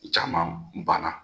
Caman ban na.